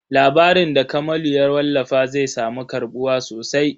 Labarin da Kamalu ya wallafa zai samu karɓuwa sosai.